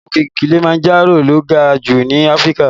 Òkè Kilimanjaro lo ga jù ní Áfríkà